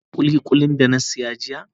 Ka gan kulikuli da na saya jiya?